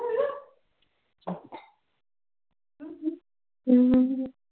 ਕਿੰਨੇ ਕੇ ਚਿਰ